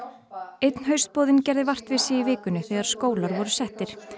einn gerði vart við sig í vikunni þegar skólar voru settir